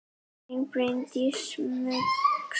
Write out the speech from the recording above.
Þín Bryndís Muggs.